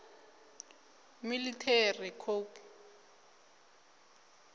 military coup